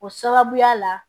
O sababuya la